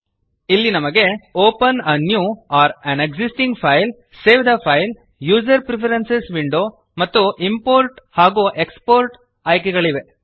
ಇಲ್ಲಿ ನಮಗೆ open a new or an existing file save the file user preferences window ಮತ್ತು import ಹಾಗೂ export ಆಯ್ಕೆಗಳಿವೆ